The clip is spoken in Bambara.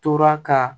Tora ka